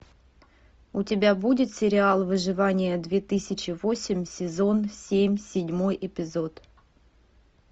у тебя будет сериал выживание две тысячи восемь сезон семь седьмой эпизод